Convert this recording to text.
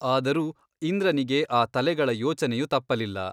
ಆದರೂ ಇಂದ್ರನಿಗೆ ಆ ತಲೆಗಳ ಯೋಚನೆಯು ತಪ್ಪಲಿಲ್ಲ.